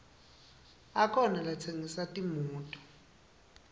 akhona latsengisa timoto